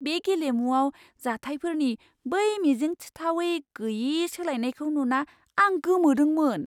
बे गेलेमुआव जाथायफोरनि बै मिजिंथिथावै गैयै सोलायनायखौ नुना आं गोमोदोंमोन!